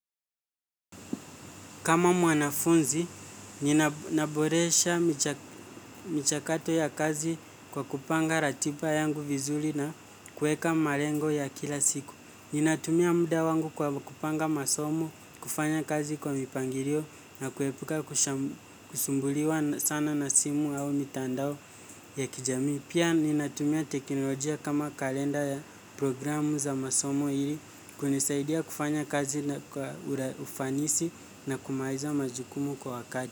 Kama mwanafunzi, ninaboresha michakato ya kazi kwa kupanga ratiba yangu vizuri na kuweka malengo ya kila siku. Ninatumia muda wangu kwa kupanga masomo, kufanya kazi kwa mipangilio na kuepuka kusumbuliwa sana na simu au mitandao ya kijamii. Pia ninatumia teknolojia kama kalenda ya programu za masomo ili kunisaidia kufanya kazi kwa ufanisi na kumaliza majukumu kwa wakati.